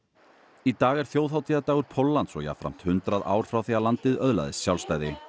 í dag er þjóðhátíðardagur Póllands og jafnframt hundrað ár frá því að landið öðlaðist sjálfstæði